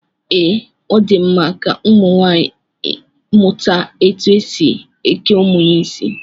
Ee, Ọ di mma ka ụmụnwaanyị mụta etu e si eke ụmụ ya isi